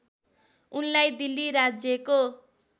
उनलाई दिल्ली राज्यको